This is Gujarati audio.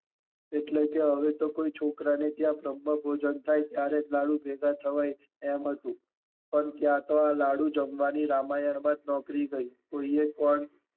એટલે કે હવે તો કોઈ છોકરા ના ત્યાં બ્રહ્મ ભોજન થાય ત્યારે જ લાડુ ભેગા થવાય એમ હતું પણ ત્યાં તો આ લાડુ જમવાની રામાયણ માં જ નોકરી ગઈ. કોઈએ